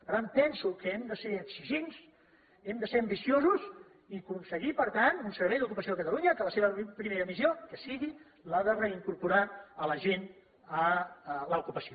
per tant penso que hem de ser exigents hem de ser ambiciosos i aconseguir per tant un servei d’ocupació a catalunya que la seva primera missió sigui la de reincorporar la gent a l’ocupació